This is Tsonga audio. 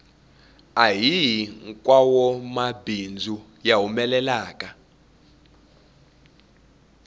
ahihi nkwawomabindzu ya humelelaka